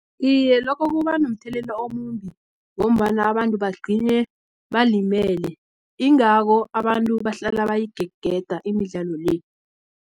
Iye, lokho kubanomthelela omumbi, ngombana abantu bagcine balimele, ingako abantu bahlala bayigegeda imidlalo le.